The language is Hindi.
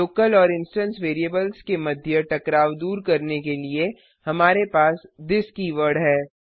लोकल और इंस्टेंस वेरिएबल्स के मध्य टकराव दूर करने के लिए हमारे पास थिस कीवर्ड है